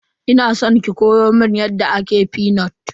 Ina san ki koya mun yadda ake fenut.